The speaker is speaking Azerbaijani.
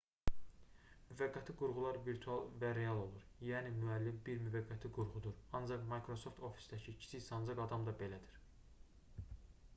müvəqqəti qurğular virtual və real olur yəni müəllim bir müvəqqəti qurğudur ancaq micrasoft ofisdəki kiçik sancaq adam da belədir